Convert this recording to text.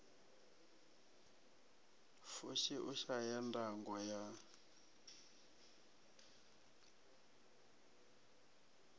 fushi u shaya ndango ya